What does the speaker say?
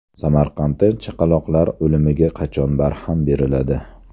Samarqandda chaqaloqlar o‘limiga qachon barham beriladi?.